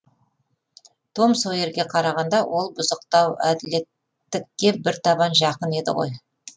том сойерге қарағанда ол бұзықтау әділеттікке бір табан жақын еді ғой